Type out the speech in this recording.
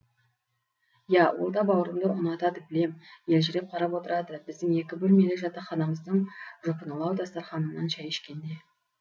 иә ол да бауырымды ұнатады білем елжіреп қарап отырады біздің екі бөлмелі жатақханамыздың жұпынылау дастарханынан шәй ішкенде